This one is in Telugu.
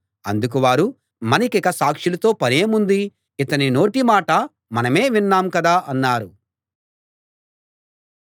అందుకు వారు మనకిక సాక్షులతో పనేముంది ఇతని నోటి మాట మనమే విన్నాం కదా అన్నారు